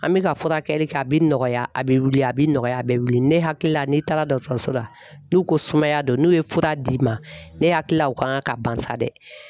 An bɛ ka furakɛli kɛ a bɛ nɔgɔya a bɛ wili a bɛ nɔgɔya a bɛ wili ne hakili la n'i taara dɔgɔtɔrɔso la n'u ko sumaya don n'u ye fura d'i ma ne hakili la o kan ka ban sa dɛ .